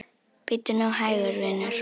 Bíddu nú hægur, vinur.